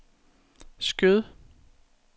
Skjød